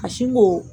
A si ko